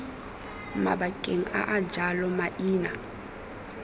mabakeng a a jalo maina